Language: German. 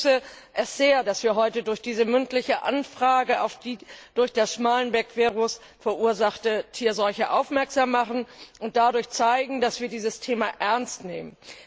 Ich begrüße es sehr, dass wir heute durch diese mündliche Anfrage auf die durch das Schmallenberg Virus verursachte Tierseuche aufmerksam machen und dadurch zeigen, dass wir dieses Thema ernst nehmen.